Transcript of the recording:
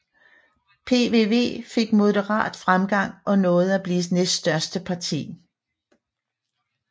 PVV fik moderat fremgang og nåede at blive næststørste parti